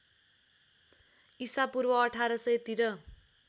इसापूर्व १८०० तिर